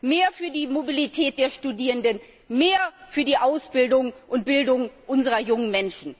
mehr für die Mobilität der Studierenden und mehr für die Ausbildung und Bildung unserer jungen Menschen zu tun.